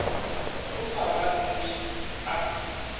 o sa ba noše a